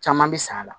Caman bɛ san a la